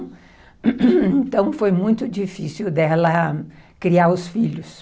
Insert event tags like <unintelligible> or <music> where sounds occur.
Então, <unintelligible> foi muito difícil dela... criar os filhos.